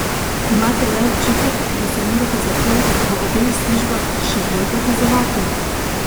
Imate kdaj občutek, da se morate zato v obeh službah še bolj dokazovati?